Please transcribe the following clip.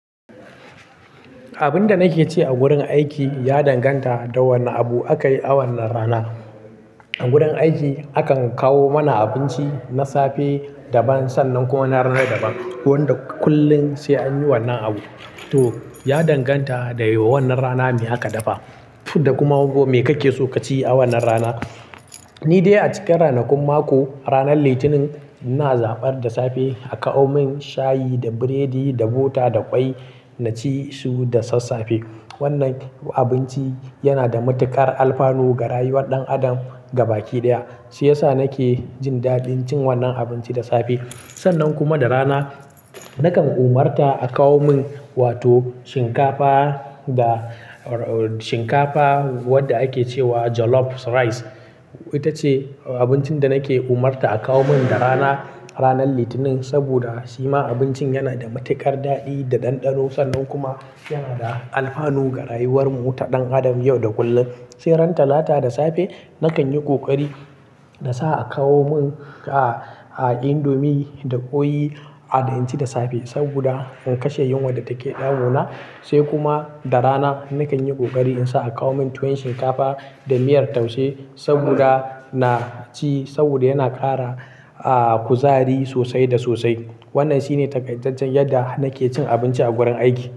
Abin da nake ci a wurin aiki ya danganta da wane abu akayi awannan rana. A gurin aiki akan kawo mana abinci na safe daban sannan kuma na rana daban. Wanda kullin sai anyi wannan abu. To, ya danganta da wannan rana me aka dafa da kuma me kake so kaci awannan rana. Ni dai a cikin ranakun mako, ranar litinin ina zaɓar da safe a kawo min shayi da biredi da bota da ƙwai naci su da sassafe. Wannan abinci yana da matuƙar alfanu ga rayuwar ɗan adam gaba ɗaya. Shi yasa nake jin daɗin cin wannan abinci da safe. Sannan kuma da rana nakan umarta a kawo min wato shinkafa da shinkafa wadda ake ce wa jollof rice. Ita ce abincin da nake umarta a kawo min da rana, ranar litinin saboda shi ma abinci yana da matuƙar daɗi da ɗanɗano sannan kuma yana da alfanu ga rayuwar mu ta ɗan adam yau da kullum. Sai ran talata da safe nakan yi ƙoƙari da sa a kawo min a-a indomie da ƙwai a naci da safe saboda in kashe yunwar da take ɗaguna. Sai kuma da rana nakan yi ƙoƙari in sa a kawo min tuwon shinkafa da miyar taushe saboda naci saboda yana ƙara a kuzari sosai da sosai. Wannan shine takaitaccen yadda nake cin abinci a gurin aiki.